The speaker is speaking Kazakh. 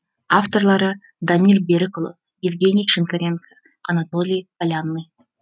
авторлары дамир берікұлы евгений шинкаренко анатолий полянный